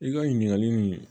I ka ɲininkali nin